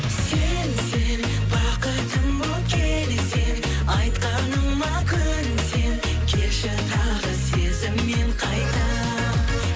сен сен бақытым боп келсең айтқаныма көнсең келші тағы сезіммен қайта